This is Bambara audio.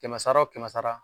Kɛmɛ sara wo kɛmɛ sara